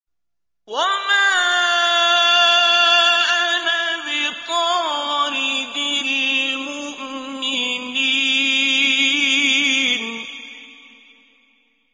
وَمَا أَنَا بِطَارِدِ الْمُؤْمِنِينَ